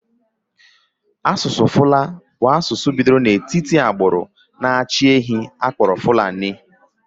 Asụsụ Fula bụ asụsụ bidoro n'etiti agbụrụ na-achị ehi akpọrọ Fulani.